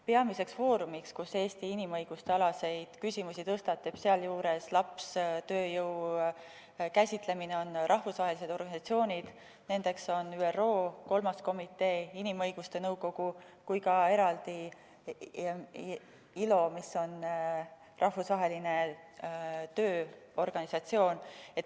Peamine foorum, kus Eesti tõstatab inimõiguste küsimusi, sh lapstööjõu käsitlemine, on sellised rahvusvahelised organisatsioonid nagu ÜRO kolmas komitee, inimõiguste nõukogu ja eraldi ka ILO, Rahvusvaheline Tööorganisatsioon.